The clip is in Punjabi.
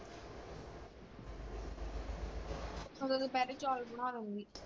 ਓਦੋਂ ਦੁਪਹਿਰੇ ਚੌਲ ਬਣਾ ਲੂੰਗੀ।